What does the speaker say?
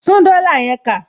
Tún dollar yẹn kà